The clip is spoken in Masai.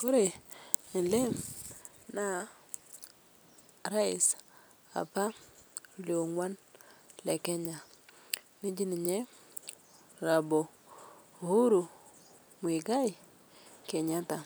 Kore alee naa rais apaa le ong'uan le Kenya neji Hon Uhuru Muigai Kenyatta,